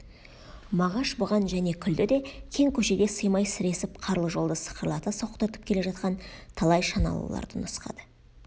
мағаш бұған және күлді де кең көшеде сыймай сіресіп қарлы жолды сықырлата соқтыртып келе жатқан талай шаналыларды нұсқады